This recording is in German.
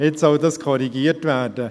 Jetzt soll dies korrigiert werden.